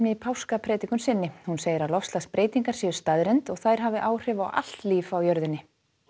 í páskapredikun sinni hún segir að loftslagsbreytingar séu staðreynd og þær hafi áhrif á allt líf á jörðinni